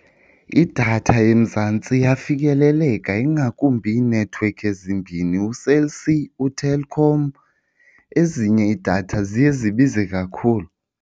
Idatha eMzantsi iyafikeleleka ingakumbi iinethiwekhi ezimbini, uCell C, uTelkom. Ezinye iidatha ziye zibize kakhulu.